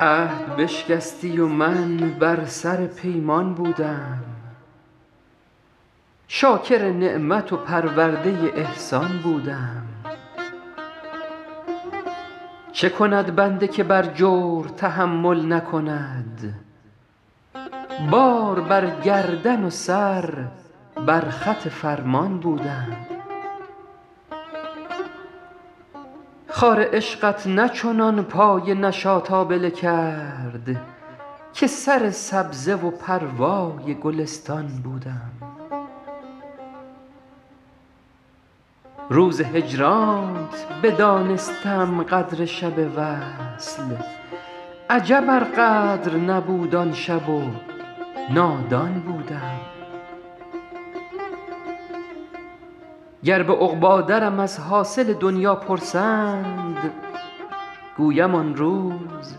عهد بشکستی و من بر سر پیمان بودم شاکر نعمت و پرورده احسان بودم چه کند بنده که بر جور تحمل نکند بار بر گردن و سر بر خط فرمان بودم خار عشقت نه چنان پای نشاط آبله کرد که سر سبزه و پروای گلستان بودم روز هجرانت بدانستم قدر شب وصل عجب ار قدر نبود آن شب و نادان بودم گر به عقبی درم از حاصل دنیا پرسند گویم آن روز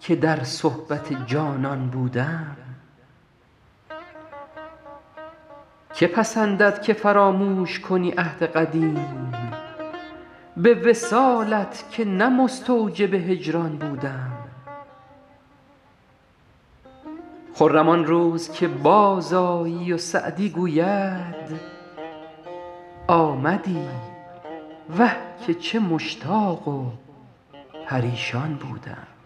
که در صحبت جانان بودم که پسندد که فراموش کنی عهد قدیم به وصالت که نه مستوجب هجران بودم خرم آن روز که بازآیی و سعدی گوید آمدی وه که چه مشتاق و پریشان بودم